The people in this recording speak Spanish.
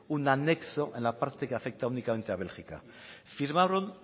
un anexo en la parte que afecta únicamente a bélgica firmaron